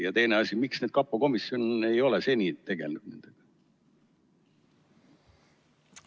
Ja teine asi: miks kapo komisjon ei ole seni tegelenud nendega?